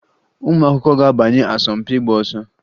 Ụmụakwụkwọ ga-abanye asọmpị ịgba ọsọ